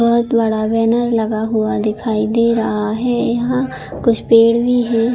बहोत बड़ा बैनर लगा हुआ दिखाई दे रहा है यहाँ कुछ पेड़ भी है।